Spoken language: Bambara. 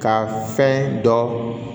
Ka fɛn dɔ